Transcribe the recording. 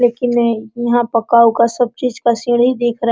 लेकिन नहीं यहाँ पक्का उक्का सब चीज का सीढ़ी दिख रहा--